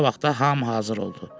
Qısa vaxtda hamı hazır oldu.